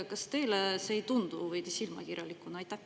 Kas teile ei tundu see veidi silmakirjalikuna?